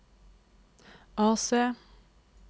AC